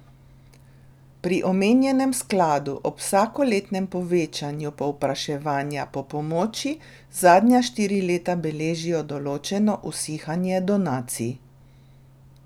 Pri omenjenem skladu ob vsakoletnem povečevanju povpraševanja po pomoči zadnja štiri leta beležijo določeno usihanje donacij.